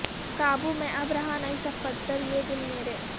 قابو میں اب رہا نہیں صفدر یہ دل مرے